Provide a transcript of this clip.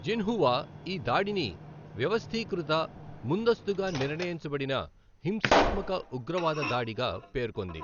Xinhua ఈ దాడిని వ్యవస్థీకృత, ముందస్తుగా నిర్ణయించబడిన హింసాత్మక ఉగ్రవాద దాడిగా పేర్కొంది.